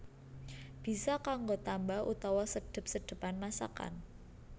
Bisa kanggo tamba utawa sedhep sedhepan masakan